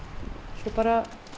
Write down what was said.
svo